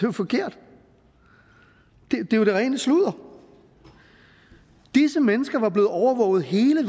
er forkert det er det rene sludder disse mennesker var blevet overvåget hele